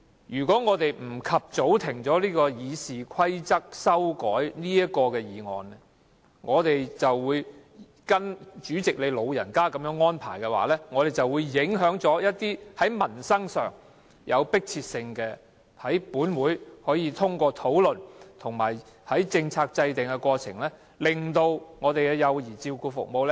如果不及早中止這項修改《議事規則》議案的辯論，我們就得跟從主席你的安排，以致就一項迫切民生議題的討論受到影響，無法在本會透過討論和制訂政策的過程改善幼兒照顧服務。